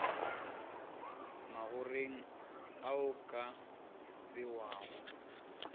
magoreng ao a ka bewago